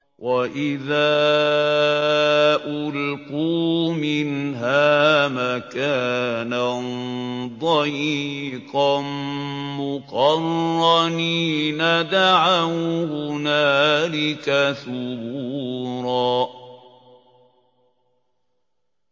وَإِذَا أُلْقُوا مِنْهَا مَكَانًا ضَيِّقًا مُّقَرَّنِينَ دَعَوْا هُنَالِكَ ثُبُورًا